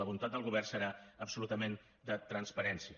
la voluntat del govern serà absolutament de transparència